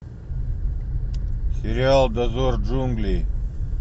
сериал дозор джунглей